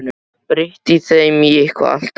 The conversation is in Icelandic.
Breytti þeim í eitthvað allt annað.